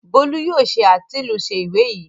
Bólú yóò ṣe àtilúnṣe ìwé yìí!